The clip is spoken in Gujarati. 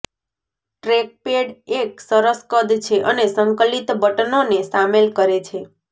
ટ્રેકપેડ એક સરસ કદ છે અને સંકલિત બટનોને શામેલ કરે છે